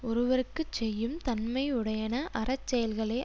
ஒருவர்க்கு செய்யும் தன்மையுடையன அறச்செயல்களே